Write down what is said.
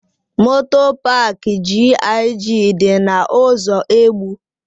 Moto paak GIG dị na ụzọ Egbu.